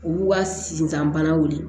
U b'u ka sifanw weele